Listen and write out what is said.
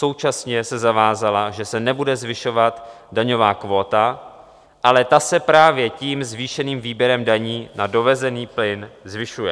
Současně se zavázala, že se nebude zvyšovat daňová kvóta, ale ta se právě tím zvýšeným výběrem daní na dovezený plyn zvyšuje.